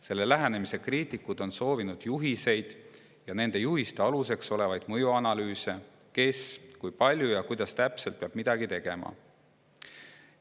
Selle lähenemise kriitikud on soovinud juhiseid ja nende juhiste aluseks olevaid mõjuanalüüse selle kohta, kes, kui palju ja kuidas täpselt peab midagi tegema.